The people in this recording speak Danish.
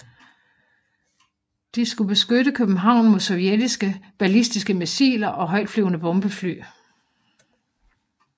De skulle beskytte København mod sovjetiske ballistiske missiler og højtflyvende bombefly